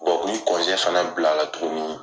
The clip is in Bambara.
fana bila la tuguni,